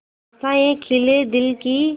आशाएं खिले दिल की